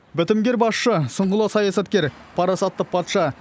бітімгер басшы сұңғыла саясаткер парасатты патша